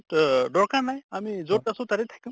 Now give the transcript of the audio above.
অহ দৰকাৰ নাই আমি যʼত আছো তাতে থাকিম